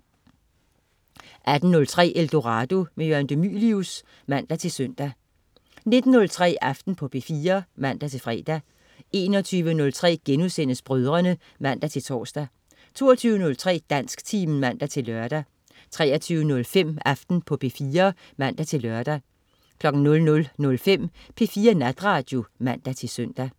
18.03 Eldorado. Jørgen de Mylius (man-søn) 19.03 Aften på P4 (man-fre) 21.03 Brødrene* (man-tors) 22.03 Dansktimen (man-lør) 23.05 Aften på P4 (man-lør) 00.05 P4 Natradio (man-søn)